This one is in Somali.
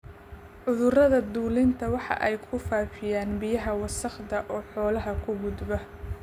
Cudurrada dulinku waxa ay ku faafiyaan biyaha wasakhaysan oo xoolaha u gudba.